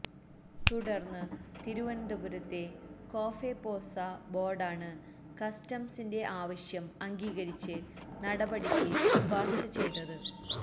തുടര്ന്ന് തിരുവനന്തപുരത്തെ കോഫെപോസ ബോര്ഡാണ് കസ്റ്റംസിന്റെ ആവശ്യം അംഗീകരിച്ച് നടപടിക്ക് ശുപാര്ശ ചെയ്തത്